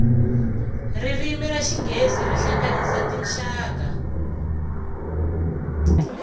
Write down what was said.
ririmi ra xinghezi ri hlanganyisa tinxaka